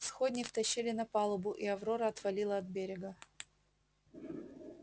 сходни втащили на палубу и аврора отвалила от берега